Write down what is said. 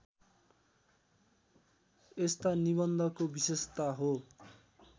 यस्ता निबन्धको विशेषता हो